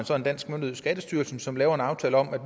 så en dansk myndighed skattestyrelsen som laver en aftale om at